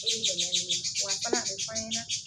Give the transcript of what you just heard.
E be dɛmɛn ɲini wa fana a be f'an ɲɛna